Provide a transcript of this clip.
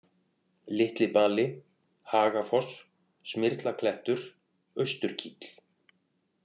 Litlibali, Hagafoss, Smyrlaklettur, Austurkíll